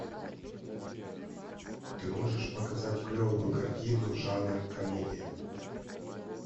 ты можешь показать клевую картину жанр комедия